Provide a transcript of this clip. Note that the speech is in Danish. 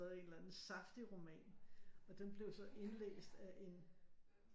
En eller anden saftig roman og den blev så indlæst af en